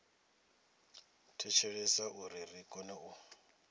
thetshelesa uri ri kone u